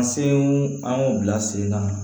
An sew an y'u bila sen na